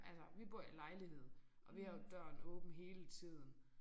Altså vi bor i lejlighed og vi har døren åben hele tiden